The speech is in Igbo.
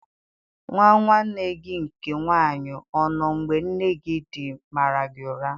Nwa nwanne gị nke nwanyị ọ nọ mgbe nne di gị mara gị ụra?